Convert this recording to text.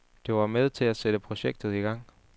Det var med til at sætte projektet i gang.